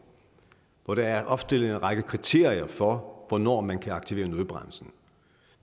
hvor der er opstillet en række kriterier for hvornår man kan aktivere nødbremsen